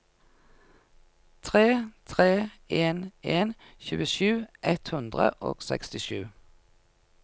tre tre en en tjuesju ett hundre og sekstisju